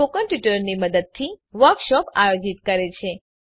spoken ટ્યુટોરીયલોનાં મદદથી વર્કશોપોનું આયોજન કરે છે